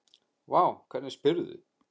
Vá, hvernig spyrðu?